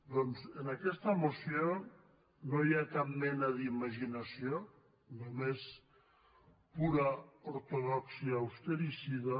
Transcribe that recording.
doncs en aquesta moció no hi ha cap mena d’imaginació només pura ortodòxia austericida